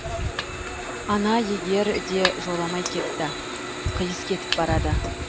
ана егер де жоламай кетті қиыс кетіп барады